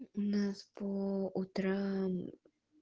у нас по утрам